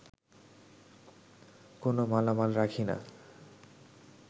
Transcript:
কোনো মালামাল রাখি না